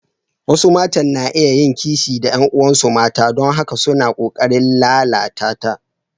Wasu matan na iya yin kishi da ƴan uwansu mata don haka suna ƙoƙarin lalata ta.